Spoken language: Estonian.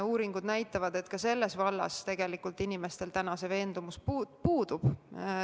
Uuringud näitavad, et ka selles vallas tegelikult inimestel veendumus puudub.